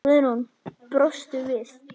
Guðrún brosir við.